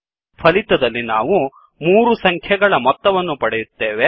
ಫಲಿತದಲ್ಲಿ ನಾವು ಮೂರು ಸಂಖ್ಯೆಗಳ ಮೊತ್ತವನ್ನು ಪಡೆಯುತ್ತೇವೆ